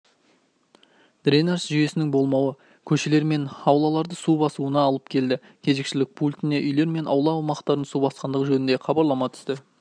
дренаж жүйесінің болмауы көшелер мен аулаларды су басуына алып келді кезекшілік пультіне үйлер мен аула аумақтарын су басқандығы жөнінде хабарлама түсті